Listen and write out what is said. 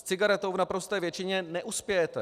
S cigaretou v naprosté většině neuspějete.